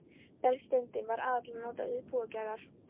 Brennisteinninn var aðallega notaður til púðurgerðar.